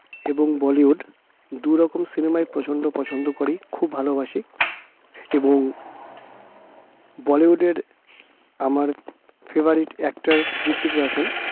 এবং বলিউড দু'রকম cinema য় প্রচন্ড পছন্দ করি খুব ভালোবাসি এবং বলিউডের আমার favorite actor হৃত্বিক রোশন